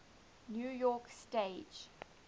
new york stage